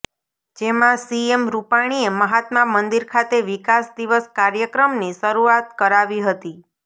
જેમાં સીએમ રૂપાણીએ મહાત્મા મંદિર ખાતે વિકાસ દિવસ કાર્યક્રમની શરૂઆત કરાવી હતી